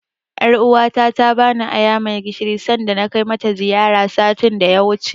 Ƴaruwa ta ta bani aya mai gishiri sanda na kai mata ziyara, satin da ya wuce.